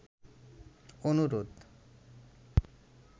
অনুরোধ